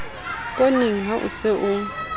pooneng ha o se o